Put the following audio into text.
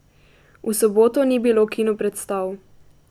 V soboto ni bilo kinopredstav.